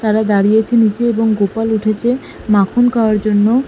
তারা দাঁড়িয়েছে নিচে এবং গোপাল উঠেছে মাখন খাওয়ার জন্য।